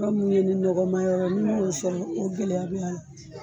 Yɔrɔ min bɛ yen ni nɔgɔman yɔrɔ ni mo sɔrɔ i gɛlɛya b' a la.